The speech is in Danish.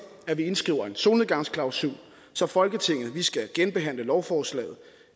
at vi indskriver en solnedgangsklausul så folketinget skal genbehandle lovforslaget